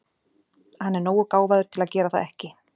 Hann er nógu gáfaður til að gera það ekki.